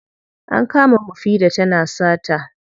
An kama mufida tana sata.